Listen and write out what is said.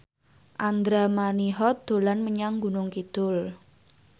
Andra Manihot dolan menyang Gunung Kidul